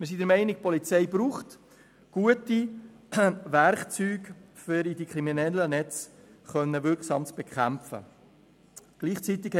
Wir sind der Meinung, dass die Polizei gute Werkzeuge braucht, um kriminelle Netze wirksam bekämpfen zu können.